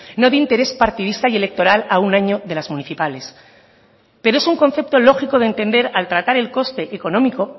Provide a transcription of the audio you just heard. no de interés partidista y electoral a un año de las municipales pero es un concepto lógico de entender al tratar el coste económico